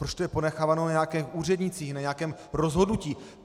Proč je to ponecháváno na nějaké úřednici, na nějakém rozhodnutí?